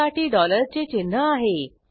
त्यासाठी डॉलर चे चिन्ह आहे